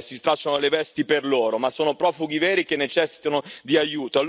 si stracciano le vesti per loro, ma sono profughi veri che necessitano di aiuto.